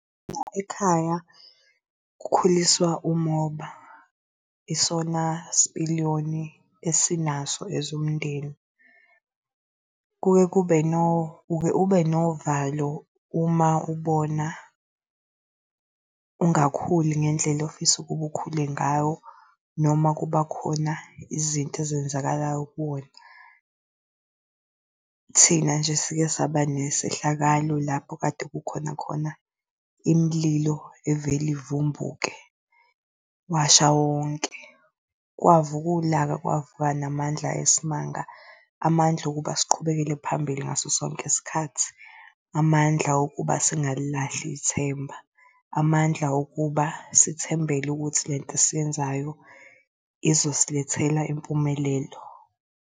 Ekhaya kukhuliswa umoba, isona sipiliyoni esinaso as umndeni. Kuke kube uke ubenovalo uma ubona ungakhuli ngendlela ofisa ukuba ukhule ngawo noma kuba khona izinto ezenzakalayo kuwona. Thina nje sike saba nesehlakalo lapho kade kukhona khona imililo evele ivumbuke. Washa wonke, kwavuka ulaka kwavuka namandla ayisimanga amandla okuba siqhubekele phambili ngaso sonke isikhathi. Amandla okuba singalilahli ithemba, amandla okuba sithembele ukuthi lento esiyenzayo izosilethela impumelelo.